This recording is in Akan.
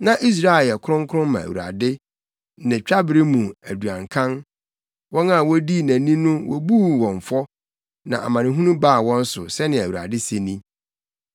Na Israel yɛ kronkron ma Awurade, ne twabere mu aduankan; wɔn a wodii nʼani no wobuu wɔn fɔ, na amanehunu baa wɔn so,’ ” sɛnea Awurade, se ni.